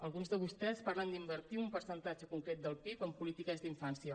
alguns de vostès parlen d’invertir un percentatge concret del pib en polítiques d’infància